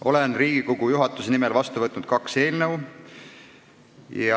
Olen Riigikogu juhatuse nimel vastu võtnud kaks eelnõu.